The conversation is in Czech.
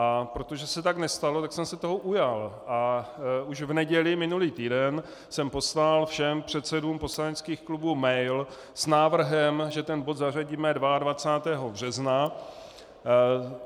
A protože se tak nestalo, tak jsem se toho ujal a už v neděli minulý týden jsem poslal všem předsedům poslaneckých klubů mail s návrhem, že ten bod zařadíme 22. března.